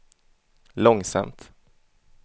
långsamt